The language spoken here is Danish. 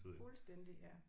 Fuldstændig ja